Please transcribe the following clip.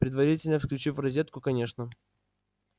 предварительно включив в розетку конечно